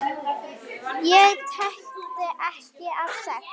Ég þekkti einn af sex!